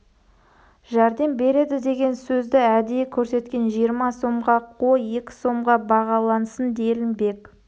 жәрдем береді деген сөзді әдейі көрсеткен жиырма сомға қой екі сомға бағалансын делінбек